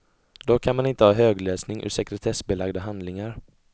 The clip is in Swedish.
Då kan man inte ha högläsning ur sekretessbelagda handlingar.